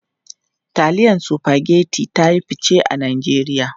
Taliyan Spaghetti ta yi fice a Najeriya.